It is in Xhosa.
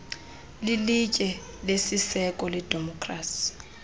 lilitye lesiseko ledemokhrasi